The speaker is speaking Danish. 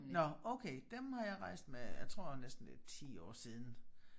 Nåh okay dem har jeg rejst med jeg tror næsten det 10 år siden